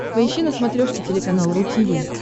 поищи на смотрешке телеканал ру ти ви